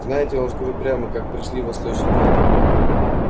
знаете я вам скажу прямо как пришли восточники